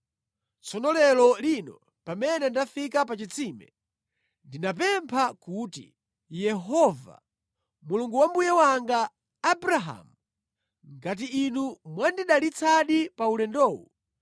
“Tsono lero lino pamene ndafika pa chitsime, ndinapempha kuti, ‘Yehova, Mulungu wa mbuye wanga, Abrahamu, ngati Inu mwandidalitsadi pa ulendowu,